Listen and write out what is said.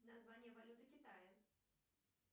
название валюты китая